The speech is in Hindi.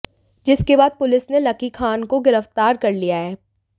जिसके बाद पुलिस ने लकी खान को गिरफ्तार कर लिया है